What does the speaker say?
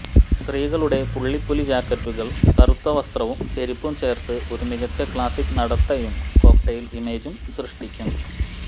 സ്ത്രീകളുടെ പുള്ളിപ്പുലി ജാക്കറ്റുകൾ കറുത്ത വസ്ത്രവും ചെരിപ്പും ചേർത്ത് ഒരു മികച്ച ക്ലാസിക് നടത്തയും കോക്ടെയ്ൽ ഇമേജും സൃഷ്ടിക്കും